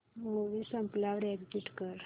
movie संपल्यावर exit कर